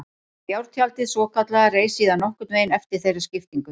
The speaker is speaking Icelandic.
Járntjaldið svokallaða reis síðan nokkurn veginn eftir þeirri skiptingu.